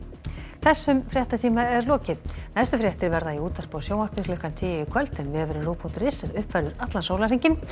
þessum fréttatíma er lokið næstu fréttir verða í útvarpi og sjónvarpi klukkan tíu í kvöld en vefurinn ruv punktur is er uppfærður allan sólarhringinn